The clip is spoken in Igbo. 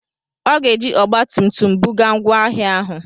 Ọ ga-eji ọgba tum tum buga ngwa ahịa ahụ.